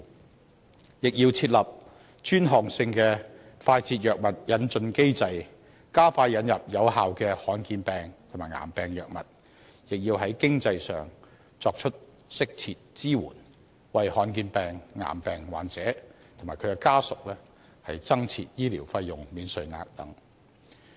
同時，政府也要設立專項性的快捷藥物引進機制，加快引入有效的罕見疾病及癌病藥物，亦要在經濟上作出適切支援，為罕見疾病和癌病患者及其家屬增設醫療費用免稅額等。